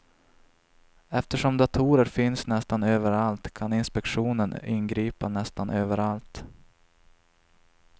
Eftersom datorer finns nästan överallt kan inspektionen ingripa nästan överallt.